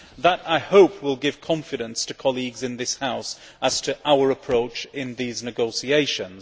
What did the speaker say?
That will, I hope, give confidence to colleagues in this House as to our approach in these negotiations.